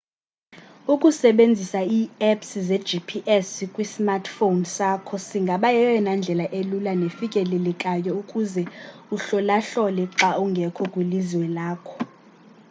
ukusebenzisa i apps ze gps kwisamrtphone sakho singaba yeyona ndlela elula nefikelelekayo ukuze uhlolahlole xa ungekho kwilizwe lakho